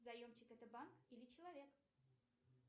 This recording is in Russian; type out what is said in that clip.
заемщик это банк или человек